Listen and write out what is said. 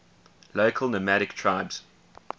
local nomadic tribes